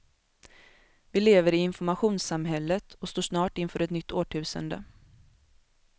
Vi lever i informationssamhället och står snart inför ett nytt årtusende.